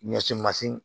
Ɲɛsi masina